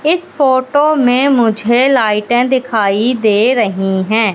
इस फोटो में मुझे लाइटें दिखाई दे रही हैं।